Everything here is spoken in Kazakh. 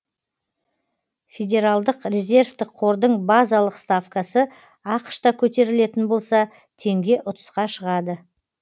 федералдық резервтік қордың базалық ставкасы ақш та көтерілетін болса теңге ұтысқа шығады